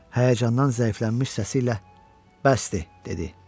Həyəcandan zəifləmiş səsiylə bəsdir, dedi.